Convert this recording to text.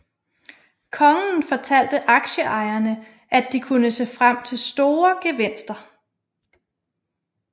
Kongen fortalte aktieejerne at de kunne se frem til store gevinster